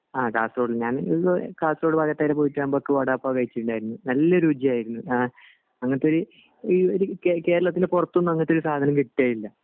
ആഹ് കാസർഗോഡ് ഞാനും കാസർഗോഡ് ഭാഗത്തായിട്ട് പോയിട്ട് നമ്മക് വടാപാവ് കഴിച്ചിണ്ടായിരുന്ന് നല്ല രുചിയായിരുന്ന് അങ്ങിനത്തൊരു ഈ കേരളത്തിൻ്റെ പൊറത്തൊന്നും അങ്ങിനത്തൊരു സാധനം കിട്ടേ ഇല്ല